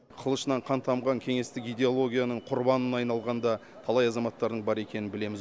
қылышынан қан тамған кеңестік идеологияның құрбанына айналған да талай азаматтардың бар екенін білеміз